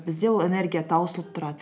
бізде ол энергия таусылып тұрады